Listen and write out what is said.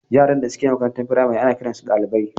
yaran da suke makarantar firamare ana kiransu ɗalibai.